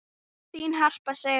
Þín Harpa Sif.